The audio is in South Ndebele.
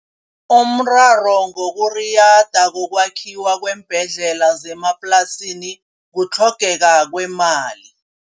Umraro wokuriyada kokwakhiwa kweembhedlela zemaplasini kutlhogeka kwemali.